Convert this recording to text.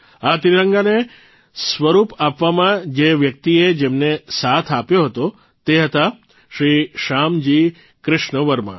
આ ત્રિરંગાને સ્વરૂપ આપવામાં જે વ્યક્તિએ જેમને સાથ આપ્યો હતો તે હતા શ્રી શ્યામજી કૃષ્ણ વર્મા